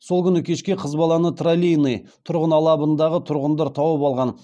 сол күні кешке қыз баланы троллейиный тұрғын алабындағы тұрғындар тауып алған